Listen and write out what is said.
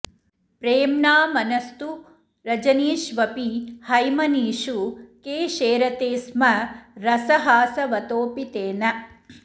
प्रेम्णा मनस्तु रजनीष्वपि हैमनीषु के शेरते स्म रसहासवतोपितेन